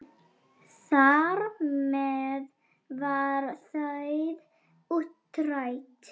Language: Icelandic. Þar með var það útrætt.